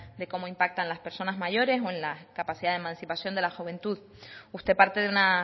de cómo impactan las personas mayores o en la capacidad de emancipación de la juventud usted parte de una